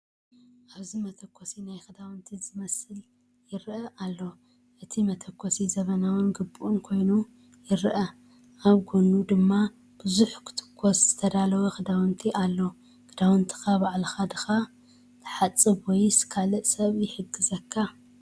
ኣብዚ መተኮሲ ናይ ክዳውንቲ ዝመስል ይርአ ኣሎ። እቲ መተኮሲ ዘመናውን ግቡእን ኮይኑ ይረአ፣ ኣብ ጎድኑ ድማ ብዙሕ ክትኮስ ዝተዳለው ክዳውንቲ ኣሎ። ክዳውንትኻ ባዕልኻ ዲኻ ትሓጽብ ወይስ ካልእ ሰብ ይሕግዘካ?